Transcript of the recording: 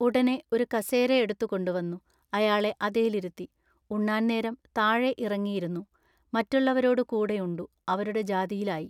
ഉടനെ ഒരു കസേര എടുത്തു കൊണ്ടുവന്നു അയാളെ അതേലിരുത്തി ഉണ്ണാൻ നേരം താഴെഇറങ്ങിയിരുന്നു മറ്റുള്ളവരോടു കൂടെയുണ്ടു അവരുടെ ജാതിയിലായി.